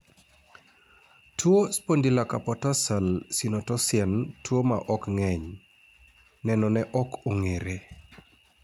tuo spondylocarpotarsal synotosisen tuo maok ng'eny , nenone ok ong'ere